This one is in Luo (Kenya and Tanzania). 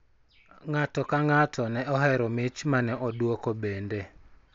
Ng�ato ka ng�ato ne ohero mich ma ne odwoko bende